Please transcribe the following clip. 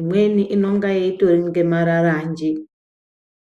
imweni inonga itori nge mararanje .